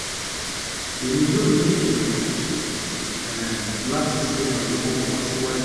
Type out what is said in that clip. emi yoo ni idunnu um lati ṣe iranlọwọ fun ọ siwaju